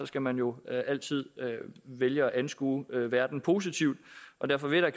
skal man jo altid vælge at anskue verden positivt og derfor vil jeg